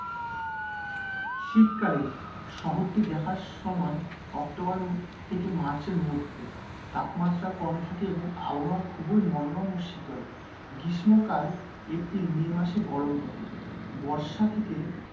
শীতকালে, শহরটি দেখার সময় অক্টোবর থেকে মার্চ এর মধ্যে, তাপমাত্রা কম থাকে এবং আবহাওয়া খুবই মনোরম ও শীতল। গ্রীষ্মকাল, এপ্রিল মে মাসে গরম থাকে। বর্ষা থেকে,